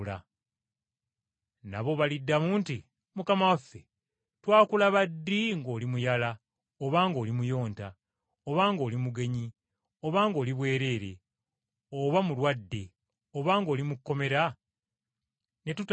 “Nabo baliddamu nti, ‘Mukama waffe, twakulaba ddi ng’oli muyala oba ng’oli muyonta, oba ng’oli mugenyi oba ng’oli bwereere oba mulwadde oba ng’oli mu kkomera, ne tutakuyamba?’